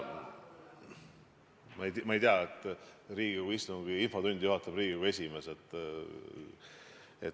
Ma ei tea, Riigikogu infotundi juhatab Riigikogu esimees.